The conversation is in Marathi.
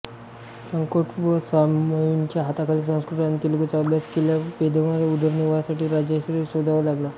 शठकोपस्वामीच्या हाताखाली संस्कृत आणि तेलुगूचा अभ्यास केल्यावर पेद्दनाला उदरनिर्वाहासाठी राजाश्रय शोधावा लागला